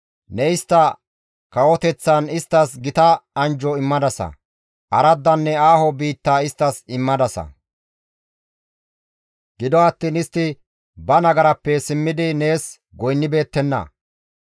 Ne istta kawoteththan isttas gita anjjo immadasa; araddanne aaho biitta isttas immadasa; gido attiin istti ba nagarappe simmidi nees goynnibeettenna.